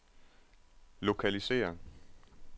lokalisér